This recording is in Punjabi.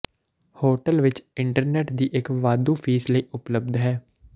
ਹੋਟਲ ਵਿੱਚ ਇੰਟਰਨੈੱਟ ਦੀ ਇੱਕ ਵਾਧੂ ਫੀਸ ਲਈ ਉਪਲੱਬਧ ਹੈ